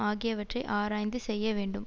ஆகியவற்றை ஆராய்ந்து செய்ய வேண்டும்